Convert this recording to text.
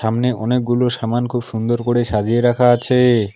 সামনে অনেকগুলো সামান খুব সুন্দর করে সাজিয়ে রাখা আছে।